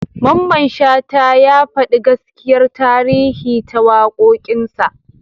Mamman Shata ya faɗi gaskiyar tarihi ta waƙoƙinsa.